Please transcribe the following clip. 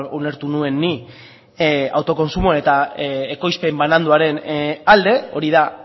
ulertu nuen ni autokontsumoan eta ekoizpen bananduaren alde hori da